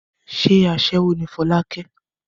Ṣé aṣẹ́wó ni Fọlákẹ́?